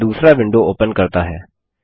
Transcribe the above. यह दूसरा window open करता है